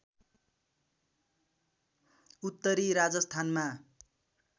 उत्तरी राजस्थानमा